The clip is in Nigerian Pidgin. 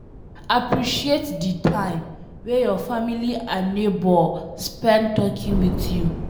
Appreciate di time wey your family and neigbour spend talking with you